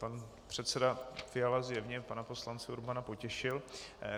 Pan předseda Fiala zjevně pana poslance Urbana potěšil.